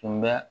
Tun bɛ